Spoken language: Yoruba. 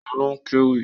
Òun ló kéwì.